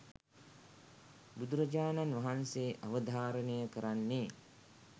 බුදුරජාණන් වහන්සේ අවධාරණය කරන්නේ